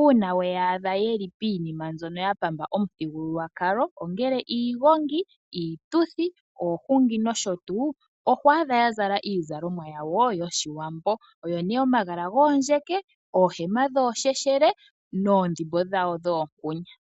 uuna weya adha yeli piinima mbyono ya pamba omuthigululwakalo ongele iigongi, iituthi, oohungi nosho tuu, oho adha ya zala iizalomwa yawo yOshiwambo oyo nee omagala goondjeke, oohema dhoosheshele noondhimbo dhawo dhoonkunya.